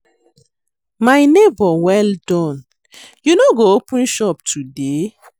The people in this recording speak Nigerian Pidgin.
My nebor well done, you no go open shop today?